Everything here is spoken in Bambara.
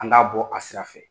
An k'a bɔ a sira fɛ